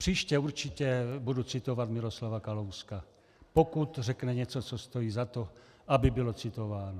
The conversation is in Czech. Příště určitě budu citovat Miroslava Kalouska, pokud řekne něco, co stojí za to, aby bylo citováno.